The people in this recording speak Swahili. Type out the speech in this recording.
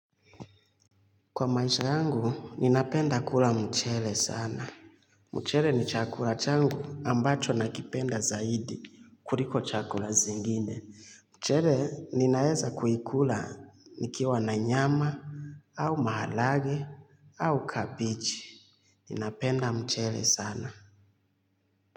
Kwa maisha yangu, ninapenda kula mchele sana. Mchele ni chakula changu ambacho nakipenda zaidi, kuliko chakula zingine. Mchele, ninaeza kuikula nikiwa na nyama, au maharage, au kabichi. Ninapenda mchele sana.